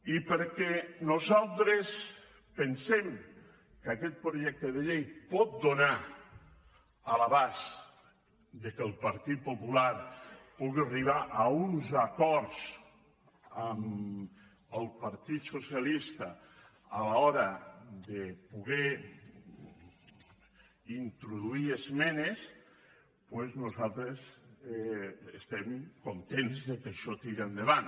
i perquè nosaltres pensem que aquest projecte de llei pot donar l’abast que el partit popular pugui arribar a uns acords amb el partit socialista a l’hora de poder introduir esmenes doncs nosaltres estem contents que això tiri endavant